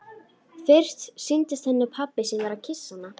Fyrst sýndist henni pabbi sinn vera að kyssa hana.